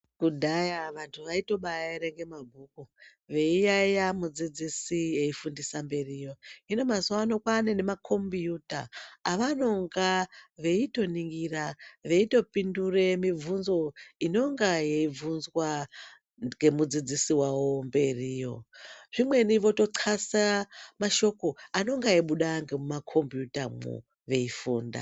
Kudhaya vantu vaitobaerenga mabhuku veiyaiya mudzidzisi efundisa mberi yo. Hino mazuwa ano kwaane makombuuta avanonga veitoningira veitopindure mibvunzo inonga yeibvunzwa ngemudzidzisi wavo mberi yo. Zvimweni votoxlasa mashoko anenge eibuda mumakombuuta mwo veifunda.